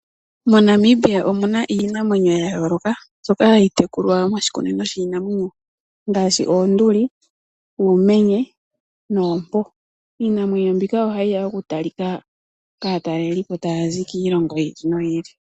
MoNamibia omuna iinamwenyo yayooloka mbyoka hayi tekulwa moshikunino shiinamwenyo ngaashi: oonduli, uumenye noompo. Iinamwenyo mbika ohayi ya okutalika kaataleliipo taya zi kiilongo yi ili noyi ili.